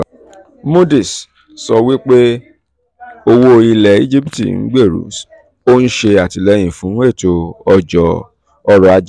moody's sọ wípé owó ilẹ̀ íjíbítì ń gbèrú ó ń ṣe àtìlẹ́yìn fún ètò ọrọ̀ ajé